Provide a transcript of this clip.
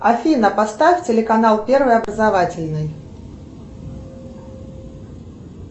афина поставь телеканал первый образовательный